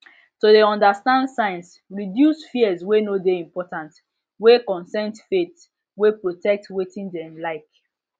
to de understand signs reduce fears wey no dey important wey consent faith wey protect wetin dem like